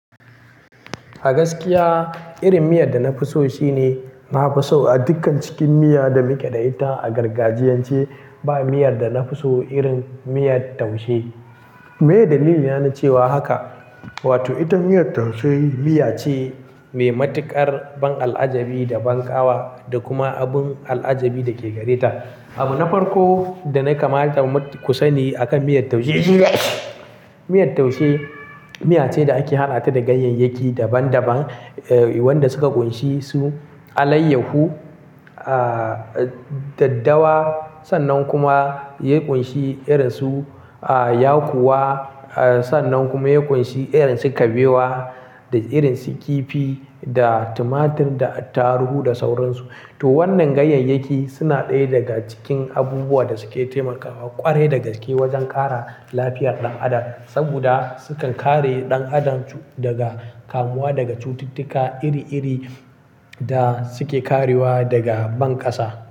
A gaskiya, irin miyar da na fi so shine, na fi so a dukkan cikin miya da muke da ita a gargajiyance, ba miyar da na fi so irin miyar taushe. Meye dalili na na cewa haka? Wato, ita miyar taushe miya ce mai matuƙar ban al'ajabi da ban ƙawa da kuma abun al'ajabi da ke gare ta. Abu na farko da na kamata ku sani akan miyar taushe miyar taushe miya ce da ake haɗa ta da ganyeyyaki daban-daban, eh wanda suka ƙunshi su alayyahu, ah daddawa, sannan kuma ya ƙunshi irin su ah yakuwa, ah sannan kuma ya ƙunshi irin su kabewa da irin su kifi da tumatur da ataruhu da sauransu. To wannan ganyeyyaki suna ɗaya daga cikin abubuwan da suke taimakawa ƙwarai da gaske wajen ƙara lafiyar ɗan adam. Saboda sukan kare ɗan adam daga kamuwa daga cututtuka iri-iri da suke karewa daga ban ƙasa.